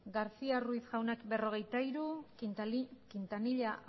garcía ruiz jaunak cuarenta y tres quintanilla